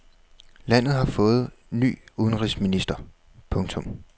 Landet har fået ny udenrigsminister. punktum